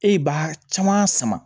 E b'a caman sama